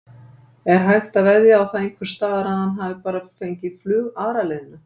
Er hægt að veðja á það einhversstaðar að hann hafi bara fengið flug aðra leiðina?